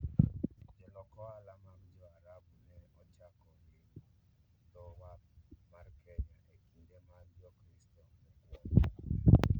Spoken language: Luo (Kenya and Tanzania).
Jolok ohala mag Jo-Arabu ne ochako limo dho wath mar Kenya e kinde mag Jokristo mokwongo.